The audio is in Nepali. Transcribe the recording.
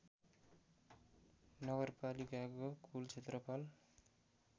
नगरपालिकाको कूल क्षेत्रफल